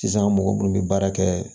Sisan mɔgɔ minnu bɛ baara kɛ